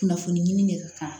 Kunnafoni ɲini de ka kan